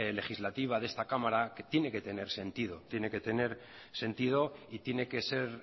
legislativa de esta cámara que tiene que tener sentido tiene que tener sentido y tiene que ser